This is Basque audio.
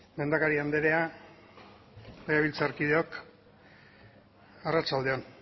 lehendakari anderea legebiltzarkideok arratsalde on